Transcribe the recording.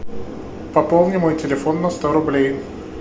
пополни мой телефон на сто рублей